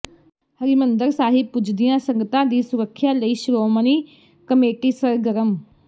ਹਰਿਮੰਦਰ ਸਾਹਿਬ ਪੁੱਜਦੀਆਂ ਸੰਗਤਾਂ ਦੀ ਸੁਰੱਖਿਆ ਲਈ ਸ਼੍ਰੋਮਣੀ ਕਮੇਟੀ ਸਰਗਰਮ